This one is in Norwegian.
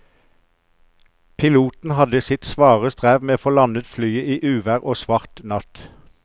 Piloten hadde sitt svare strev med å få landet flyet i uvær og svart natt.